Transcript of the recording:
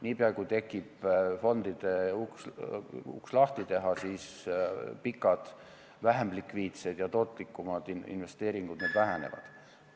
Niipea kui tekib võimalus fondide uks lahti teha, pikemaajalised, vähem likviidsed ja tootlikumad investeeringud vähenevad.